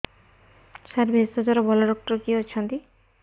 ସାର ଭେଷଜର ଭଲ ଡକ୍ଟର କିଏ ଅଛନ୍ତି